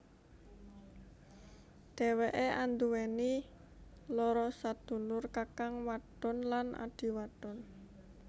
Dheweké anduweni loro sadulur kakang wadon lan adhi wadon